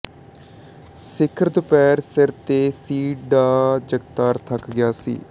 ਸਿਖਰ ਦੁਪਹਿਰ ਸਿਰ ਤੇ ਸੀ ਡਾ ਜਗਤਾਰ ਥੱਕ ਗਿਆ ਸੀ